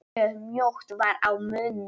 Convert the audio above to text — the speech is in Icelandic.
Mjög mjótt varð á munum.